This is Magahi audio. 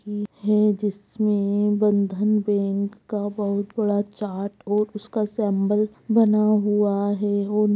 जिसमे बंधन बैंक का बहुत बड़ा चार्ट और उसका सिंबल बना हुआ है।